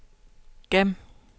gem